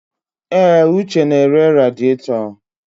Èé, Uche na-ere radịatọ.